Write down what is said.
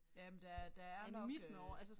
Jamen der der er nok øh